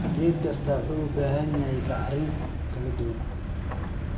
Geed kastaa wuxuu u baahan yahay bacrimin kala duwan.